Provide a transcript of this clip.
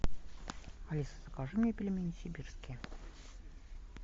алиса закажи мне пельмени сибирские